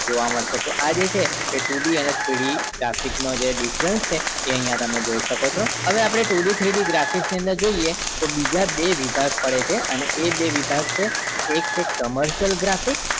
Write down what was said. જોવા મળશે તો આ જે છે એ two D અને three d graphic નો જે difference છે અહિયાં તમે જોઈ શકો છો અને આપડે too d three d graphic ની અંદર જોઈએ તો બીજા બે વિભાગ પડે છે અને એ બે વિભાગ છે એક છે commercial graphic